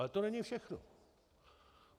Ale to není všechno.